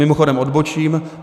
Mimochodem odbočím.